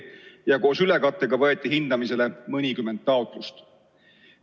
Koos ülekattega võeti hindamisele mõnikümmend taotlust.